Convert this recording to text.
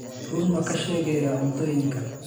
Run ma ka sheegayaa cuntooyinka?